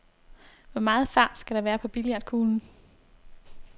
Hvor meget fart skal der være på billiardkuglen?